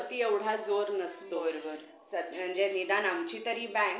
पुस्तकांमध्ये आपले भविष्य बनवण्याची एक शक्ति आहे आणि ते आपल्या जीवनाचा सर्वात महत्वपूर्ण भाग आहे